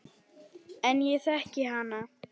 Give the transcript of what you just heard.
En ég þekki hana.